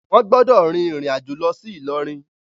Wọn gbọdọ rin irin ajo lọ si Ilorin!